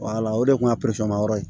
o de kun y'a ma yɔrɔ ye